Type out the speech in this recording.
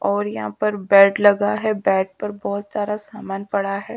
और यहाँ पर बेड लगा है बेड पर बहोत सारा सामान पड़ा है।